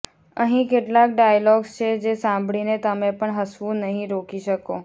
અહીં કેટલાક ડાયલોગ્સ છે જે સાંભળીને તમે પણ હસવું નહીં રોકી શકો